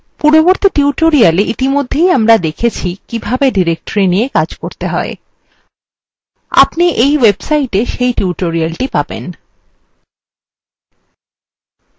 পূর্ববর্তী tutorialwe ইতিমধ্যে আমরা দেখেছি কিভাবে directories নিয়ে কাজ করতে হয় আপনি in website সেই tutorialthe পাবেন